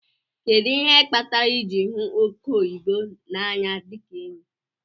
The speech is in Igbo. Kedu ihe kpatara iji hu oke oyibo na anya dika enyi?